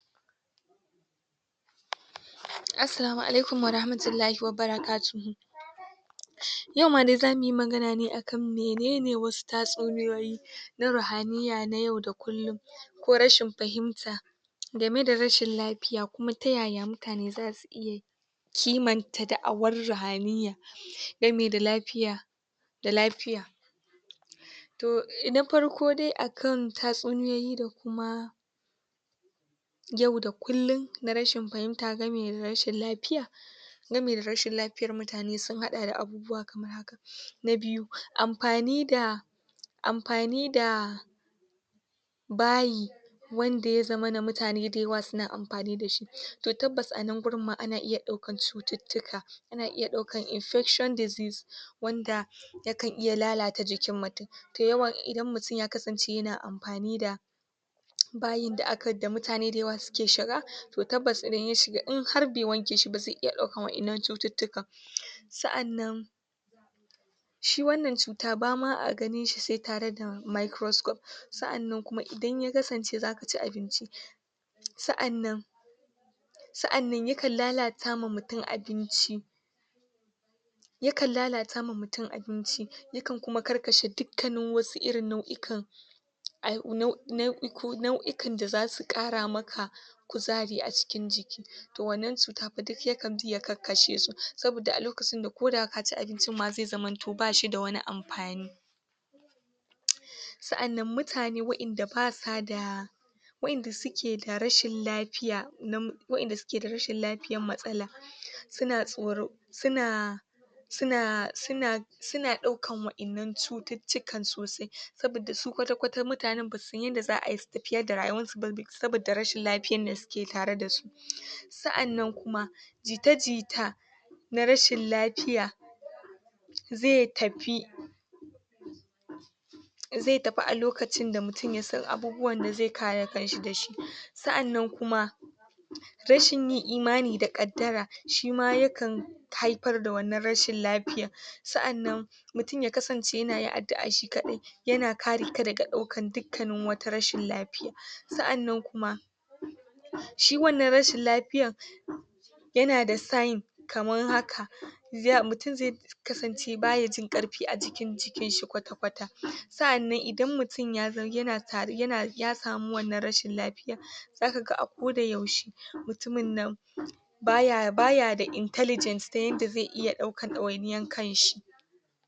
Assalamu alaikum warahmatullahi wabarakatuhu Yau ma dai zamu yi magana ne a kan mene ne wasu tatsuniyoyi na ruhaniyya na yau da kullum. ko rashin fahimta. game da rashin lafiya, kuma ta ya ya mutane za su iya kimanta da'awar ruhaniyya. gami da lafiya da lafiya. to na farko dai akan tatsuniyoyi da kuma yau da kullum na rashin fahimta gami da rashin lafiya. gami da rashin lafiyar mutane sun haɗa da abubuwa na biyu, amfani da amfani da bayi wanda ya zaman mutane da yawa suna amfani da shi. to tabbas a nan wurin ma ana iya ɗaukar cututtuka. ana iya ɗaukar infection diseases wanda yakan iya lalata jikin mutum. Da yawa idan mutum ya kasance yana amfani da bayin da mutane da yawa suke shiga, To tabbas idan ya shiga in har bai wanke shi ba zai iya ɗaukar wannan cututtukan. Sa'an nan shi wannan cuta ba ma a ganin shi sai tare da Microscope. sa'an nan kuma idan ya kasance za ka ci abinci sa'an nan sa'an nan yakan lalata wa mutum abinci yakan lalata wa mutum abinci yakan karkashe dukkanin wasu irin nau'ikan nau'ikan da za su ƙara ma ka kuzari a cikin jiki. to wannan cuta fa duk sai ya bi ya kakkashe su saboda a lokacin da ko da ka ci abincin zai zamanto ba shi da amfani. sa'annan mutane waɗanda ba su da waɗanda suke da rashin lafiya, na waɗanda suke da rashin lafiya matsala suna tsoro, suna suna, suna, suna ɗaukar waɗannan cututtukan sosai. saboda su kwata-kwata mutanen ba su san yadda za a yi su tafiyar darayuwarsu ba saboda rashin lafiyar da suke tare da su sa'an nan kuma. na rashin lafiya, zai tafi zai tafi a lokacin da mutum ya san abubuwan da zai kare kan shi da shi. sa'an nan kuma, rashin yin imani da ƙaddara shi ma yakan haifar da wannan rashin lafiyar. sa'an nan mutum ya kasance yana yin addu'a shi kaɗai yana kare ka daga ɗaukar duk wata rashin lafiya. sa'an nan kuma, shi wannan rashin lafiyar yana da sign kamar haka mautum zai kasance ba ya jin ƙarfi a jikin jikinshi kwata-kwata. sa'an nan idan mutum ya zam yana tari yana ya samu wannan rashin lafiyar za ka ga ako da yaushe mutumin nan ba ya, ba ya da intelligent ta yanda zai iya ɗaukar ɗawai niyar kanshi.